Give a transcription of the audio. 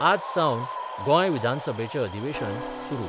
आजसावन गोंय विधानसभेचें अधिवेशन सुरु.